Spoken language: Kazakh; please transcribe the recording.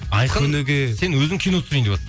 айқын сен өзің кино түсірейін деватсың